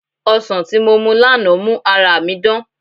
Ọsàn tí mo mu lánàá mú ara mi dán